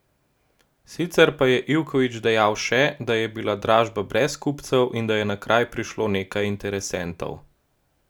Sicer pa je Ivković dejal še, da je bila dražba brez kupcev in da je na kraj prišlo nekaj interesentov.